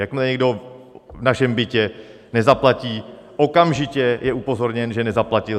Jakmile někdo v našem bytě nezaplatí, okamžitě je upozorněn, že nezaplatil.